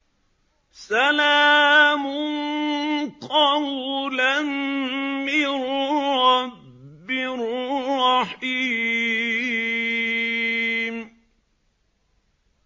سَلَامٌ قَوْلًا مِّن رَّبٍّ رَّحِيمٍ